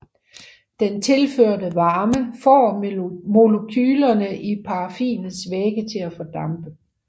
Den tilførte varme får molekylerne i paraffinets væge til at fordampe